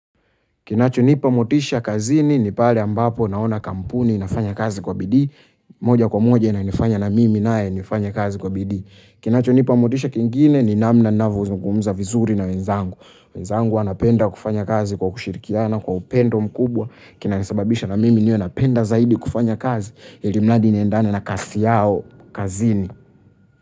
Kinachonipa motisha kazini ni pale ambapo naona kampuni inafanya kazi kwa bidii, moja kwa moja inanifanya na mimi naye nifanye kazi kwa bidii. Kinachonipa motisha kingine ni namna navozungumza vizuri na wenzangu. Wenzangu wanapenda kufanya kazi kwa kushirikiana kwa upendo mkubwa kinanisababisha na mimi niwe napenda zaidi kufanya kazi ilimradi niendane na kasi yao kazini.